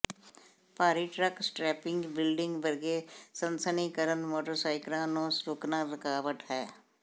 ਭਾਰੀ truck strapping building ਵਰਗੇ ਸਨਸਨੀਕਰਣ ਮੋਟਰਸਾਈਕਰਾਂ ਨੂੰ ਰੁਕਣਾ ਰੁਕਾਵਟ ਹੈ